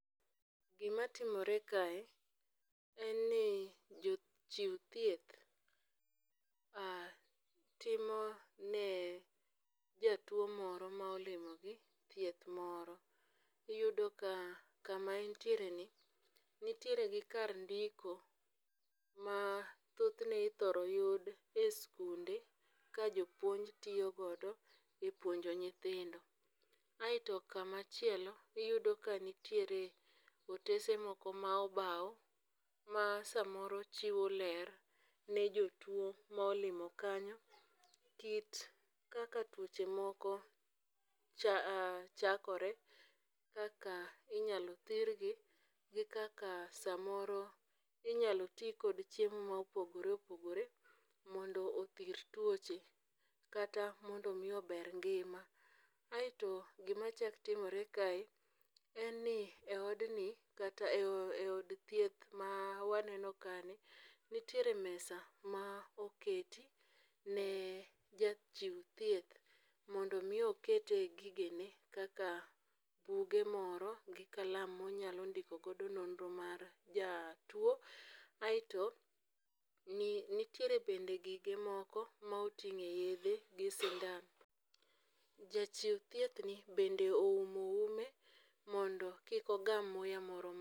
Gimatimore kae en ni jochiw thieth ma timone jatuwo moro ma olimogi thieth moro. Iyudo ka kama entiere ni nitiere gi kar ndiko ma thothne ithoro yud e skunde ka jopuonj tiyo godo e puonjo nyithindo, aeto kamachielo iyudo ka nitiere otese moko ma obaw ma samoro chiwo ler ne jotuwo ma olimo kanyo, kit kaka tuoche moko chakore, kaka inyalo thirgi gi kaka samoro inyalo ti kod chiemo ma opogore opogore mondo othir tuoche kata mondo omi ober ngima. Aeto gimachako timore kae, en ni e odni kata e od thieth ma waneno kani, nitiere mesa ma oketi ne jachiw thieth mondo omi okete gigene kaka buge moro gi kalam monyalo ndiko godo nonro mar jatuwo, aeto nitiere bende gige moko ma oting'e yedhe gi sindan. Jachiw thiethni bende oumo ume mondo kik ogam muya moro